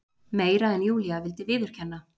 Meira en Júlía vildi viðurkenna.